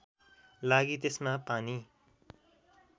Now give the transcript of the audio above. लागि त्यसमा पानी